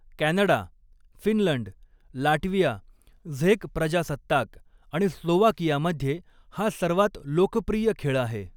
Canada, Finland, Latvia, झेक प्रजासत्ताक आणि स्लोव्हाकियामध्ये हा सर्वात लोकप्रिय खेळ आहे.